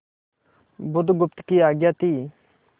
बुधगुप्त की आज्ञा थी